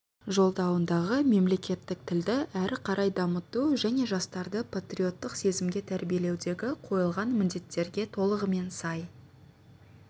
жолдауындағы мемлекеттік тілді әрі қарай дамыту және жастарды патриоттық сезімге тәрбиелеудегі қойылған міндеттерге толығымен сай